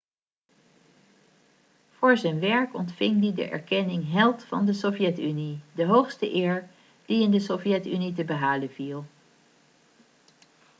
voor zijn werk ontving hij de erkenning held van de sovjet-unie' de hoogste eer die in de sovjet-unie te behalen viel